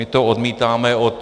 My to odmítáme od...